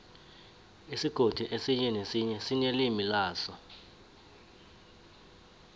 isigodi esinye nesinye sinelimi laso